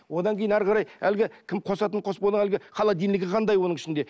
одан кейін әрі қарай әлгі кім қосатын қоспаны әлгі холодильнигі қандай оның ішінде